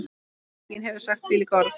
Enginn hefur sagt þvílík orð.